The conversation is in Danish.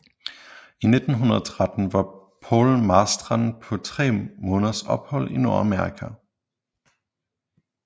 I 1913 var Paul Marstrand på tre måneders ophold i Nordamerika